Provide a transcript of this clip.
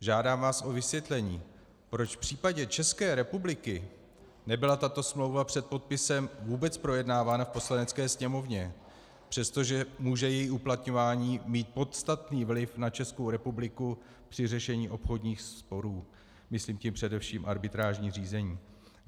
Žádám vás o vysvětlení, proč v případě České republiky nebyla tato smlouva před podpisem vůbec projednávána v Poslanecké sněmovně, přestože může její uplatňování mít podstatný vliv na Českou republiku při řešení obchodních sporů, myslím tím především arbitrážní řízení.